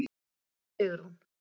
Guðni og Sigrún.